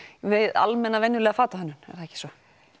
við almenna venjulega fatahönnun er það ekki svo